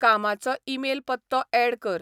कामाचो ईमेल पत्तो ऍड कर